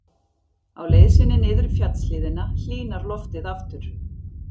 Á leið sinni niður fjallshlíðina hlýnar loftið aftur.